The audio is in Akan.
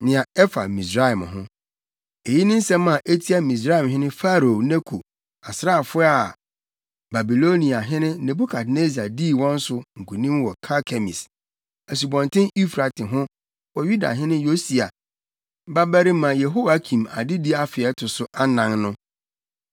Nea ɛfa Misraim ho: Eyi ne nsɛm a etia Misraimhene Farao Neko asraafo a Babiloniahene Nebukadnessar dii wɔn so nkonim wɔ Karkemis, Asubɔnten Eufrate ho wɔ Yudahene Yosia babarima Yehoiakim adedi afe a ɛto so anan no: